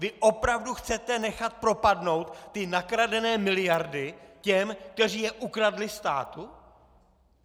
Vy opravdu chcete nechat propadnout ty nakradené miliardy těm, kteří je ukradli státu?